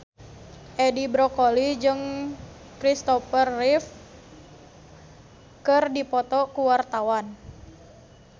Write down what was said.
Edi Brokoli jeung Christopher Reeve keur dipoto ku wartawan